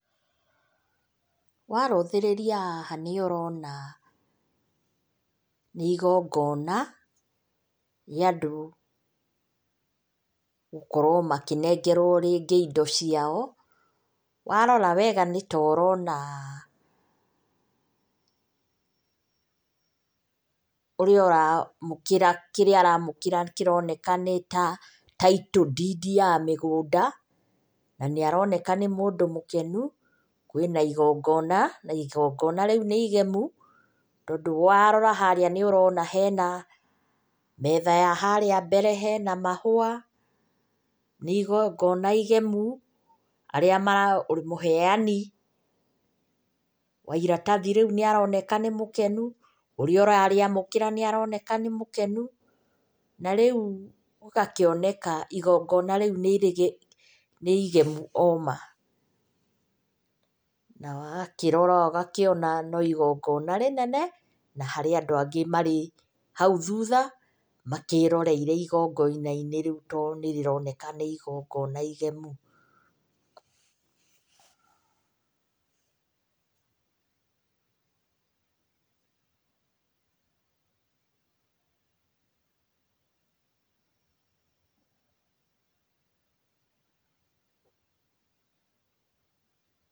Warũthĩrĩria haha nĩ ũrona, nĩ igongona, rĩa andũ gũkorwo makĩnengerwo rĩngĩ indo ciao. Warora wega nĩ ta ũrona, ũrĩa ũramũkĩra kĩrĩa aramũkĩra kĩroneka nĩ ta title deed ya mĩgũnda, na nĩ aroneka nĩ mũndũ mũkenũ, kwĩna igongona na igongona rĩũ nĩ igemũ, tondũ warora harĩa nĩ ũrona hena, metha ya harĩa mbere, hena mahũa nĩ igongona igemũ arĩa marahe, mũheani wa iratathi rĩũ nĩ aroneka nĩ mũkenũ, ũrĩa ũrarĩamũkĩra nĩ aroneka nĩ mũkenũ, na rĩũ gũgakĩoneka igongona rĩũ nĩ irĩgĩ, nĩ igĩmũ oma. Na wakĩrora ũgakĩona no igongona rĩnene na harĩ andũ angĩ marĩ haũ thũtha makĩroreire igongona-inĩ rĩũ tondũ nĩ rĩroneka nĩ igongona igemũ. Pause.